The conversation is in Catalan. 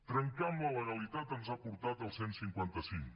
trencar amb la legalitat ens ha portat al cent i cinquanta cinc